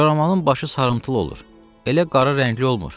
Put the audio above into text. Koramalın başı sarımtıl olur, elə qara rəngli olmur.